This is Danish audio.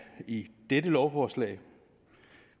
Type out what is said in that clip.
i dette lovforslag vi